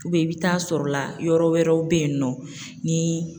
i bɛ taa sɔrɔ la yɔrɔ wɛrɛw bɛ yen nɔ ni